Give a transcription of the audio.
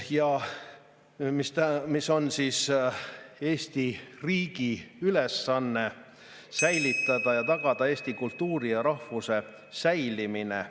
Ja see on, et Eesti riigi ülesanne on tagada eesti kultuuri ja rahvuse säilimine.